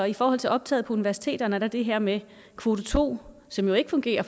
i forhold til optaget på universiteterne er der det her med kvote to som jo ikke fungerer